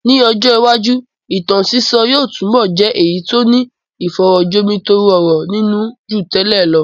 Ní ọjọ́ iwájú, ìtàn sísọ yóò túbọ̀ jẹ́ èyí tó ní ìfọ̀rọ̀ jomitoro ọ̀rọ̀ nínú ju tẹ́lẹ̀ lọ.